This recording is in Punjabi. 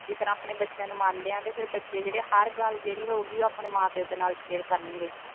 ਦੀ ਤਰ੍ਹਾਂ ਆਪਣੇ ਬੱਚਿਆਂ ਨੂੰ ਮੰਨਦੇ ਆਂ ਤੇ ਫਿਰ ਬੱਚੇ ਜਿਹੜੇ ਆ ਹਰ ਗੱਲ ਜਿਹੜੀ ਹੋਊਗੀ ਉਹ ਆਪਣੇ ਮਾਂ ਪਿਓ ਦੇ ਨਾਲ ਸ਼ੇਅਰ ਕਰਨਗੇ।